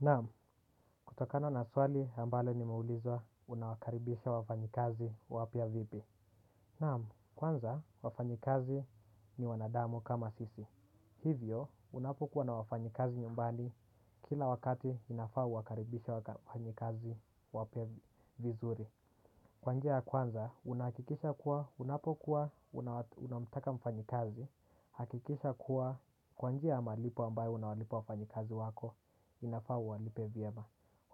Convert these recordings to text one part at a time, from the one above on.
Naam, kutokana na swali a mbalo nimeulizwa unawakaribisha wafanyikazi wapia vipi. Naam, kwanza wafanyikazi ni wanadamu kama sisi. Hivyo, unapokuwa na wafanyikazi nyumbani kila wakati inafaa uwakaribishe wafanyikazi wapia vizuri. Kwanjia ya kwanza, unahakikisha kuwa unapokuwa unamtaka mfanyikazi hakikisha kuwa kwanjia ya malipo ambayo unawalipa wafanyikazi wako inafaa uwalipe vyema.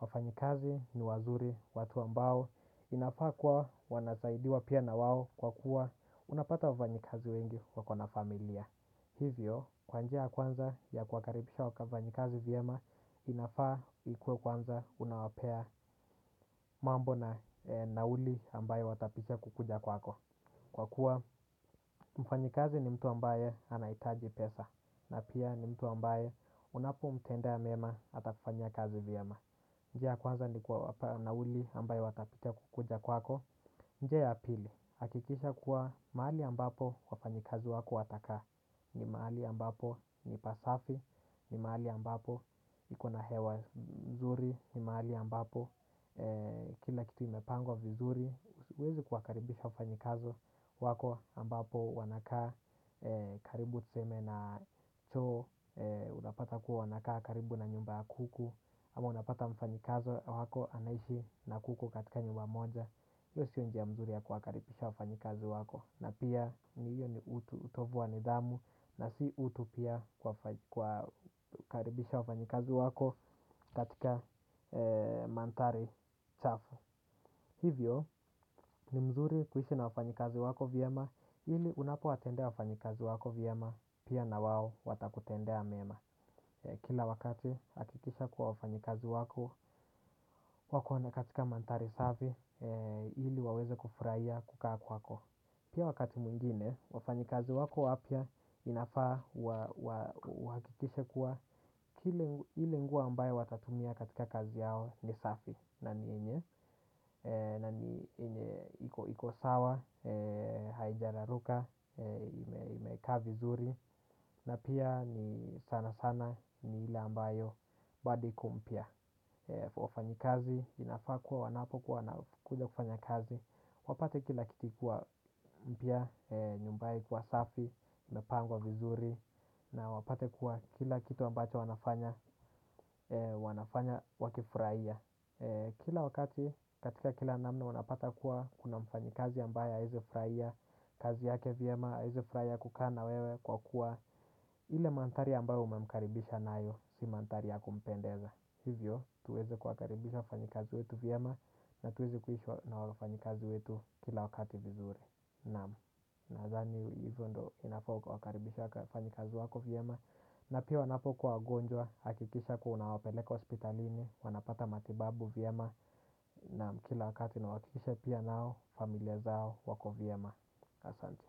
Wafanyikazi ni wazuri watu ambao inafaa kwa wanasaidiwa pia na wao kwa kuwa unapata wafanyikazi wengi wakona familia. Hivyo kwa njia kwanza ya kuwakaribisha wakafanyikazi vyema inafaa ikuwe kwanza unawapea mambo na nauli ambayo watapita kukuja kwako. Kwa kuwa mfanyikazi ni mtu ambaye anahitaji pesa na pia ni mtu ambaye unapo mtendea mema atafanya kazi. Vyema. Njia ya kwanza ni kuwapa nauli ambayo watapitia kukuja kwako. Njia ya pili, hakikisha kuwa mahali ambapo wafanyikazi wako watakaa. Ni mahali ambapo ni pasafi, ni mahali ambapo ikona hewa nzuri. Ni mahali ambapo kila kitu imepangwa vizuri huwezi kuwakaribisha wafanyikazi wako ambapo wanakaa karibu tuseme na choo. Unapata kuwa wanakaa karibu na nyumba ya kuku. Ama unapata mfanyikazo wako anaishi na kuku katika nyumba moja hio sio njia mzuri ya kuwakaribisha wafanyikazi wako. Na pia ni hiyo ni utu utovu wa nidhamu na si utu pia kuwakaribisha wafanyikazi wako katika manthari chafu. Hivyo ni mzuri kuishi na wafanyikazi wako vyema ili unapo watendea wafanyikazi wako vyema. Pia na wao watakutendea mema. Kila wakati hakikisha kuwa wafanyi kazi wako, wako na katika manthari safi ili waweze kufurahia kukaa kwako. Pia wakati mwingine, wafanyi kazi wako wapia inafaa wa uhakikishe kuwa ile nguo ambayo watatumia katika kazi yao ni safi. Na ni yenye, na ni yenye, iko iko sawa, hainja raruka, imekaa vizuri. Na pia ni sana sana ni ile ambayo bado iko mpia kwa wafanyi kazi, inafaa kuwa wanapo kuwa na kuja kufanya kazi. Wapate kila kitu ikiwa mpia, nyumbaye ikiwa safi, imepangwa vizuri. Na wapate kuwa kila kitu ambacho wanafanya, wanafanya wakifurahia. Kila wakati katika kila namna wanapata kuwa kuna mfanyikazi ambaye aezi furahia kazi yake. Vyema aeze kufurahia kukaa na wewe kwa kuwa ile manthari ambayo umemkaribisha nayo si manthari ya kumpendeza. Hivyo tuweze kuwakaribisha wafanyikazi wetu vyema na tuweze kuishi na wafanyikazi wetu kila wakati vizuri. Naam, nathani hivyo ndo unafaa uwakaribisha wafanyikazi wako. Vyema na pia wanapokuwa wagonjwa, hakikisha kuwa unawapeleka hospitalini, wanapata matibabu. Vyema na kila uhakikisha pia nao, familia zao wako. Vyema. Asante.